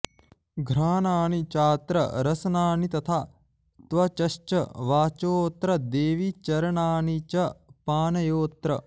घ्राणानि चात्र रसनानि तथा त्वचश्च वाचोऽत्र देवि चरणानि च पाणयोऽत्र